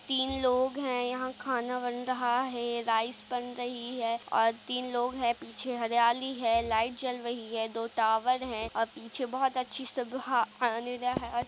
तीन लोग है यहाँ खाना बन रहा है। राइस बन रही है और तीन लोग है पीछे हरियाली है लाइट जल रही है दो टॉवर है। और पीछे बहुत अच्छी सुबह आने --